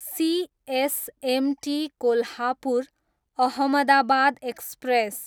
CSMT Kolhapur, Ahmedabad express